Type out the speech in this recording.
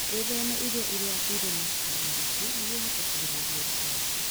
Wĩtheme irio iria irĩ na cukari mũingĩ nĩguo ũhote kũgirĩrĩria ũritũ waku.